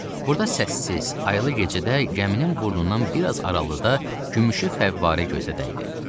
Burada səssiz, aylı gecədə gəminin burnundan biraz aralıda gümüşü fəvvarə gözə dəydi.